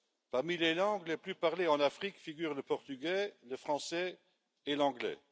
Parmi les langues les plus parlées en Afrique figurent le portugais, le français et l'anglais.